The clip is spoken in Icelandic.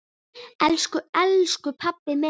Elsku elsku pabbi minn.